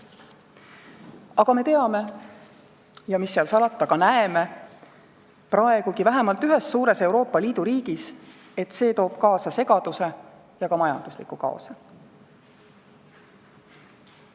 Aga me teame – ja mis seal salata, me ka näeme seda praegugi vähemalt ühes suures Euroopa Liidu riigis –, et see toob kaasa segaduse ja ka majandusliku kaose.